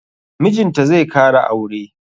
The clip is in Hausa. Mijinta zai kara aure.